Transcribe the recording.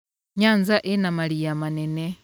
Nyanza ĩna mariia manene.